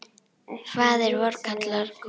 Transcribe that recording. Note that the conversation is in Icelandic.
Faðir vor kallar kútinn.